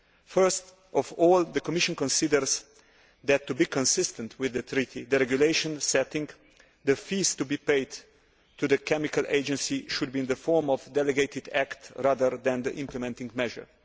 Firstly, the Commission considers that, to be consistent with the Treaty, the regulation setting the fees to be paid to the chemical agency should be in the form of a delegated act rather than an implementing measure.